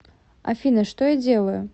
афина что я делаю